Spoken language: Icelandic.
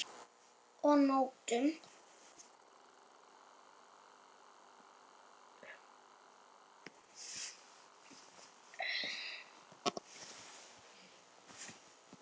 Og nóttum!